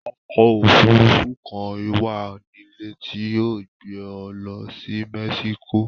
Ọkọ̀-òfurufú kan wà nílẹ̀ tí yóò gbé ọ lọ sí Mexico.